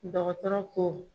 Dɔgɔtɔrɔ ko